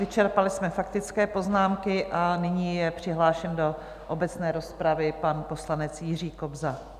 Vyčerpali jsme faktické poznámky a nyní je přihlášen do obecné rozpravy pan poslanec Jiří Kobza.